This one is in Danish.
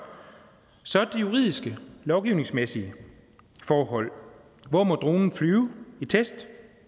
så er der de juridiske lovgivningsmæssige forhold hvor må dronen flyve i test